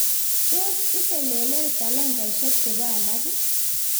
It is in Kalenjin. tos itelelee talanteshek chebo laak?